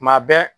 Tuma bɛɛ